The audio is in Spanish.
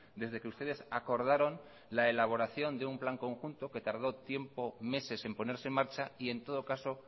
desde que ustedes acordaron la elaboración de un plan conjunto que tardó tiempo meses en ponerse en marcha y en todo caso